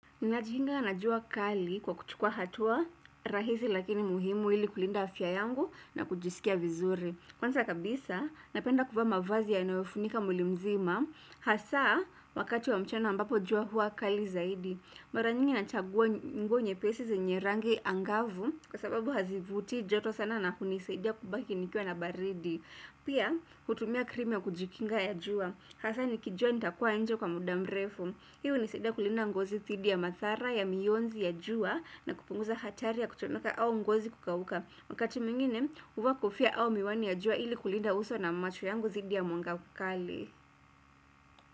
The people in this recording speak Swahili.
Ninajikinga na jua kali kwa kuchukua hatua rahisi lakini muhimu hili kulinda afya yangu na kujisikia vizuri. Kwanza kabisa, napenda kuvaa mavazi yanayoifunika mwili mzima, hasa wakati wa mchana ambapo jua hua kali zaidi. Maranyingi na chagua nguo nyepesi zinye rangi angavu kwa sababu hazivuti joto sana na kunisaidia kubaki nikiwa na baridi. Pia, kutumia krimu ya kujikinga ya jua, hasa nikijua nitakuwa njee kwa mudamrefu. Hii hunisaidiaa kulinda ngozi dhidi ya mathara ya mionzi ya jua na kupunguza hatari ya kuchomeka au ngozi kukauka. Wakati mwingine huvaa kofiaa au miwani ya jua ili kulinda uso na macho yangu dhidi ya mwanga mkali.